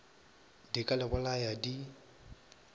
di ka le bolaya di